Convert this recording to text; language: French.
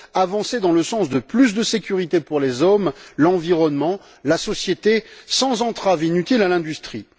avancer dans le sens de plus de sécurité pour les hommes, l'environnement, la société, sans entraves inutiles à l'industrie?